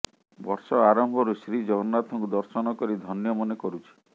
ବର୍ଷ ଆରମ୍ଭରୁ ଶ୍ରୀଜଗନ୍ନାଥଙ୍କୁ ଦର୍ଶନ କରି ଧନ୍ୟ ମନେ କରୁଛି